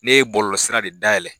Ne ye bɔlɔlɔsira de dayɛlɛn